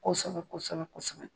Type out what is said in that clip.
Kosɛbɛ kosɛbɛ kosɛbɛ